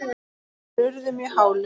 þeir urðu mjög hálir.